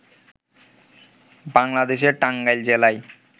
বাংলাদেশের টাঙ্গাইল জেলায়